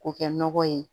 K'o kɛ nɔgɔ ye